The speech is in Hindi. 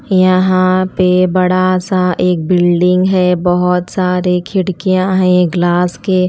यहां पे बड़ा सा एक बिल्डिंग है बहोत सारे खिड़कियां है ग्लास के--